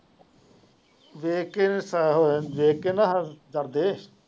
ਨਾ ਸਾਹ ਹੋਇਆ ਦੇਖ ਕੇ ਨਾ ਕਰਦੇ।